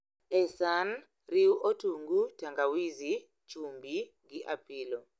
E san, riu otungu, tangawizi, chumbi gi apilo